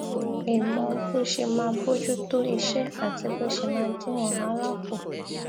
lè mọ bó ṣe máa bójú tó iṣé àti bó ṣe máa dín wàhálà kù